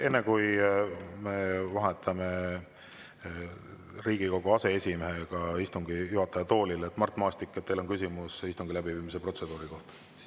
Enne kui me vahetame Riigikogu aseesimehega istungi juhataja: Mart Maastik, kas teil on küsimus istungi läbiviimise protseduuri kohta?